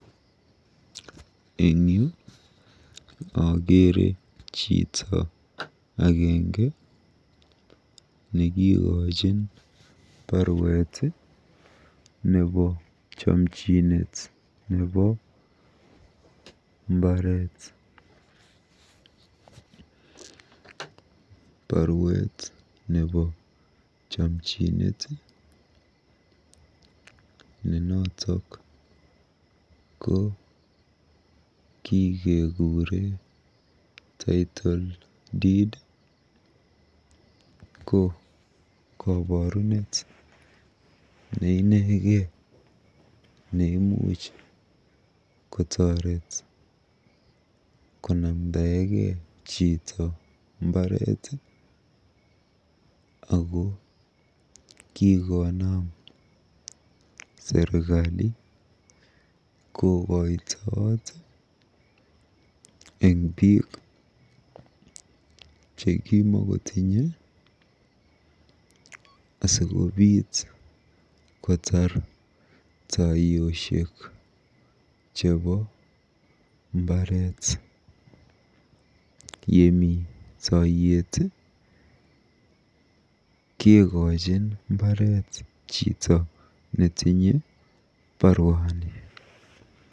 Eng yu akeere chito agenge nekikochin baruet nebo chomchinet nebo mbaret. Baruet nebo chomchinet, ne noto ko kikekuure Title Deed ko koborunet neinekei neimuch kotoret konamdaegei chito mbaret ako kikonaam serikali kokoitoot eng biik chekimakotinye asikobiit kotar taiyosiek chebo mbaret. Yemi toiyet kekochin mbaret chito netinye baruani.